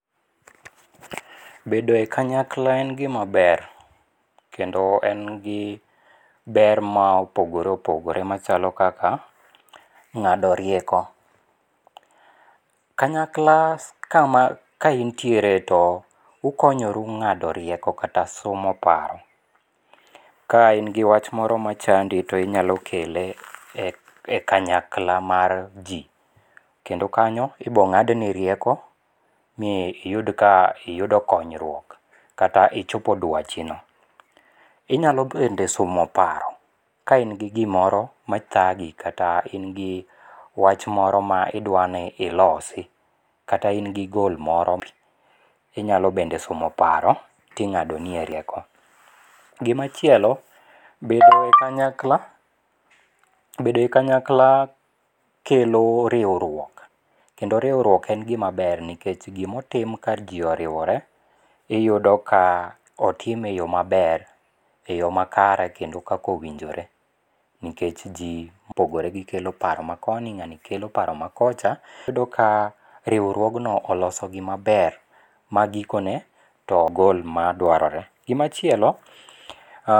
Bedo e kanyakla en gim a ber kendo en gi ber ma opogore opogoe machalo kaka ng'ado rieko. Kanyakla kama kaintiere to ukonyoru ng'ado rieko kata sumo paro. Kain gi wach moro machandi to inyalo kele e kanyakla mar jiKendo kanyo ibiro ng'adni rieko, mi iyud ka iyudo konyruok kata ichopo dwachino. Inyalo bende sumo paro ka in gi gimoro mathagi kata in gi wach moro ma idwa ni ilosi kata in gi gol moro inyalo bende sumo paro tro ing'adonie rieko. Gima chielo bedo e kanyakla, bedo e kanyakla kelo riwruok kendo riwruok en gima ber nikech gima otim ka ji oriwore iyudo ka otime eyo maber, eyo makare kendo kaka owinjore nikech ji mopogore gikelo paro makoni, ng'ani kelo paro makocha, iyudo ka riwruogno oloso gima ber ma gikone to gol madwarore. Gimachielo ah.